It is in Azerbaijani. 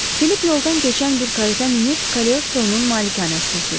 Filip yoldan keçən bir karetə minib Kolestronun malikanəsinə sürdürdü.